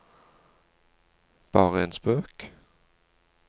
bare en spøk